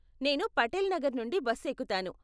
నేను పటేల్ నగర్ నుండి బస్ ఎక్కుతాను.